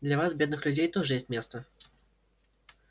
для вас бедных людей тоже есть место